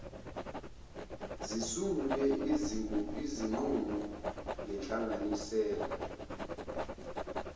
zisungule izinqumo ngenhlanganisela